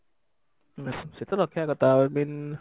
relation ତ ରଖିବା କଥା i mean